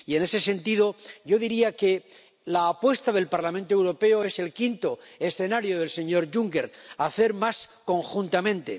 Y, en ese sentido, yo diría que la apuesta del Parlamento Europeo es el quinto escenario del señor Juncker hacer más conjuntamente.